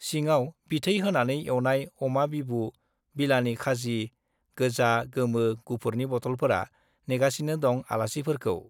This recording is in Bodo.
सिङाव बिथै होनानै एउनाय अमा बिबु-बिलानि खाजि, गोजा, गोमो, गुफुरनि बटलफोरा नेगासिनो दं आलासिफोरखौ।